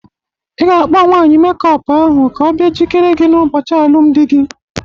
I ga-akpo nwanyị mekup ahụ ka ọ bia jikere gị n'ụbọchị alụmndị gị!